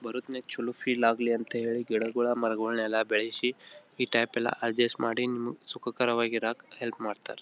ಚಲೋ ಫೀಲ್ ಆಗ್ಲಿ ಅಂತ ಗಿಡಗಳನ್ನ ಮರಗಳನ್ನು ಬೆಳೆಸಿ ಈ ಟೈಪ್ ಎಲ್ಲ ಅಡ್ಜಸ್ಟ್ ಮಾಡಿ ನಿಮ್ಗ್ ಸುಖಕರ ವಾಗಿ ಇರಾಕ್ ಹೆಲ್ಪ್ ಮಾಡ್ತಾರ.